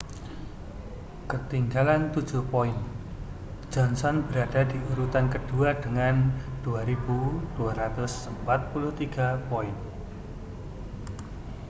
ketinggalan tujuh poin johnson berada di urutan kedua dengan 2.243 poin